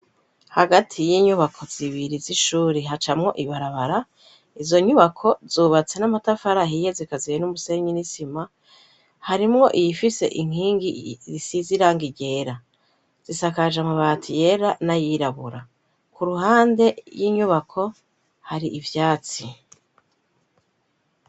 Hagati y'inyubako zibiri z'ishuri hacamwo ibarabara, izo nyubako zubatse n'amatafari ahiye zikaziye n'umusenyi n'isima, harimwo iyifise inkingi isize irangi ryera zisakaje mu mabati yera n'ayirabura, ku ruhande y'inyubako hari ivyatsi.